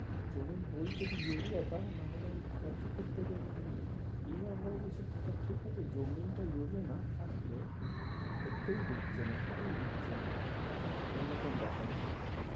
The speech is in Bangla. জমিন বলছে যে ইউরিয়া দাও নাহলে আমি খরচই করতে দেব না এবার বলো তো এসব কথার ঠিক আছে জমিন টা ইউরিয়া না থাকলে করতে ই দিচ্ছে না হতে ই দিচ্ছে না এইরকম ব্যাপার হয়ে যাচ্ছে